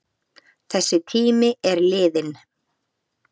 Þessi tími er liðinn.